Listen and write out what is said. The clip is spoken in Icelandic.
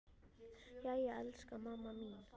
Jæja, elsku mamma mín.